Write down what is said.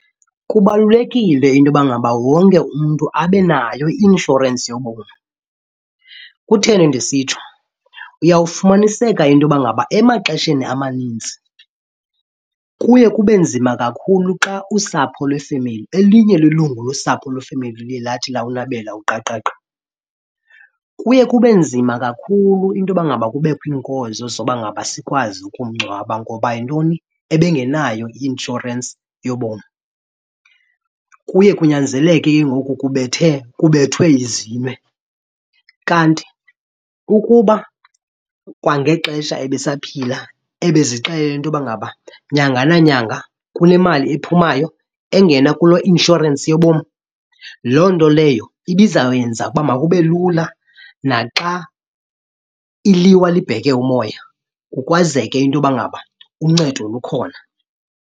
Kubalulekile into yoba ngaba wonke umntu abe nayo i-inshorensi yobomi. Kutheni ndisitsho? Uyawufumaniseka into yoba ngaba emaxesheni amaninzi kuye kube nzima kakhulu xa usapho lwefemeli elinye lelungu losapho lwefemeli luye lathi lawulabela uqaqaqa, kuye kube nzima kakhulu into yoba ngaba kubekho iinkozo zoba ngaba sikwazi ukumngcwaba. Ngoba yintoni? Ebangenayo i-inshorensi yobomi. Kuye kunyanzeleke ke ngoku kubethe kubethwe ezilwe. Kanti ukuba kwangexesha ebesaphila ebezixelele into yoba ngaba nyanga nanyanga kule mali ephumayo engena kule i-inshorensi yobomi, loo nto leyo ibizawuyenza uba makube lula naxa iliwa libheke umoya, kukwazeke into yoba ngaba uncedo lukhona.